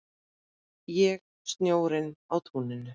Ég snjórinn á túninu